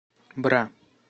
бра